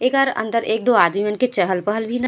एकर अंदर एक दो आदमी मन के चहल-पहल भी--